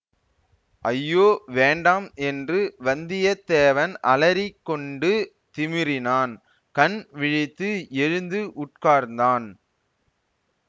ஐயோ வேண்டாம் என்று வந்தியத்தேவன் அலறிக் கொண்டு திமிறினான் கண் விழித்து எழுந்து உட்கார்ந்தான்